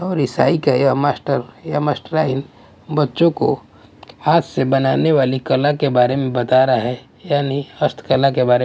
और ईसाई का यह मास्टर या मास्टराइन बच्चों को हाथ से बनाने वाली कला के बारे में बता रहा है यानी हस्तकला के बारे में --